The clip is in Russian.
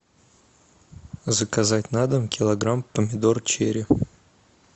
заказать на дом килограмм помидор черри